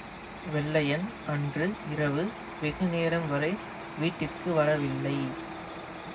வெள்ளையன் அன்று இரவு வெகு நேரம்வரை வீட்டிற்கு வரவில்லை